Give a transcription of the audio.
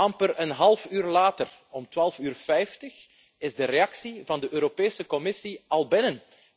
Amper een half uur later, om twaalf uur vijftig, is de reactie van de Europese Commissie al binnen.